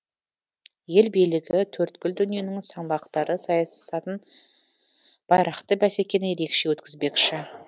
ел билігі төрткүл дүниенің саңлақтары сайысатын байрақты бәсекені ерекше өткізбекші